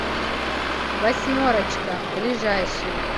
восьмерочка ближайший